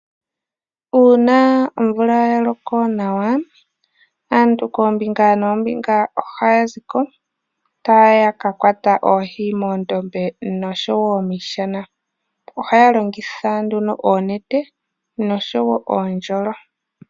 Uuna omvula ya loko nawa, aantu koombinga noombinga ohaya zi ko taya ka kwata oohi moondombe noshowo miishana. Ohaya longitha nduno oonete noshowo oondjolo.